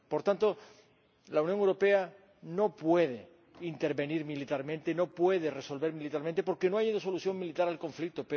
Por tanto, la Unión Europea no puede intervenir militarmente, no puede resolver la situación militarmente porque no hay una solución militar al conflicto.